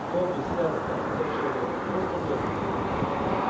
добби сэр ответил человек просто добби